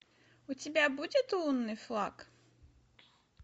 у тебя будет лунный флаг